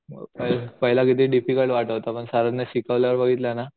पहिला पहिला किती डिफिकल्ट वाटत होता पण सरांनी शिकवल्यावर बघितलं ना